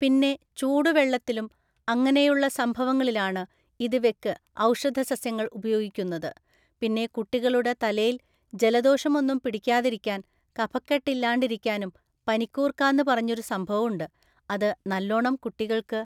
പിന്നെ ചൂടുവെള്ളത്തിലും അങ്ങനെയുള്ള സംഭവങ്ങളിലാണ് ഇത് വെക്ക് ഔഷധസസ്യങ്ങള്‍ ഉപയോഗിക്കുന്നത് പിന്നെ കുട്ടികളുടെ തലേല് ജലദോഷൊന്നും പിടിക്കാതിരിക്കാന്‍ കഫക്കെട്ടില്ലാണ്ടിരിക്കാനും പനിക്കൂർക്കാന്നു പറഞ്ഞൊരു സംഭവുണ്ട് അത് നല്ലൊണം കുട്ടികൾക്ക്